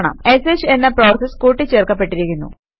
ഷ് എന്ന പ്രോസസ് കൂട്ടി ച്ചേർക്കപ്പെട്ടിരിക്കുന്നു